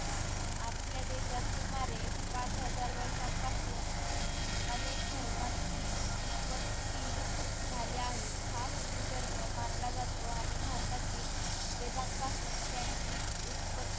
आपल्या देशात सुमारे पाच हजार वर्षांपासून अनेक धर्मांची उ प ती झाली आहे हा हिंदू धर्म मानला जातो आणि भारतातील वेदांपासून त्यांची उत्पत्ती